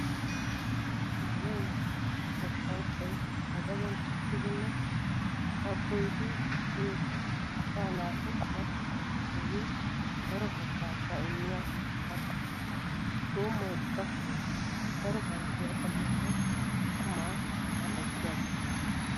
Donoy goshshanchchay ba gaden tokkidinne kabboyiddi dichiyoo asaa naatu qummatettawu keehi daro hagaaza immiya katta. Tuumoy qassi daro harggiya xalliyanne qumaa mali'ettiyaaga.